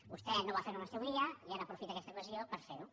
vostè no va fer·ho en el seu dia i ara aprofita aquesta ocasió per fer·ho